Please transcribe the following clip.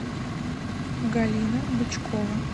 галина бычкова